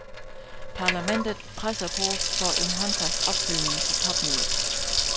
Parlamentet presser på for en håndfast opfølgning på topmødet.